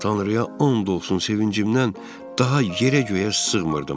Tanrıya and olsun sevincimdən daha yerə-göyə sığmırdım.